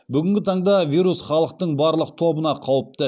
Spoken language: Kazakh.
бүгінгі таңда вирус халықтың барлық тобына қауіпті